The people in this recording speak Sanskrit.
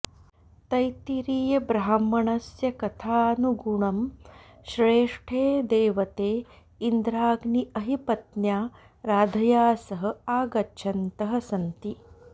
तैत्तिरीयब्राह्मणस्य कथनानुगुणं श्रेष्ठे देवते इन्द्राग्नी अहिपत्न्या राधया सह आगच्छन्तः सन्ति